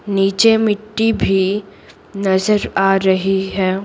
नीचे मिट्टी भी नजर आ रही है।